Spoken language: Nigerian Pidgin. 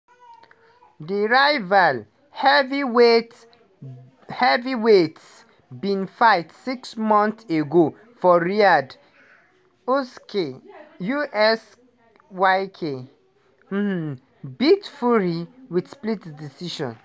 di rival heavyweight heavyweightss bin fight six months ago for riyadh - usyk usky[um] beat fury wit split decision.